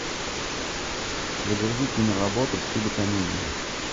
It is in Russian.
загрузи киноработу в стиле комедии